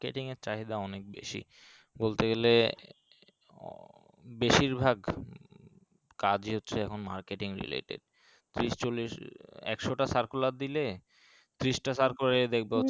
marketing এর চাহিদা অনেক বেশি বলতে গেলে বেশির ভাগ কাজি হচ্ছে এখন marketing related ত্রিশ চল্লিশ একশো টা circular দিলে ত্রিশ টা circular দেখবা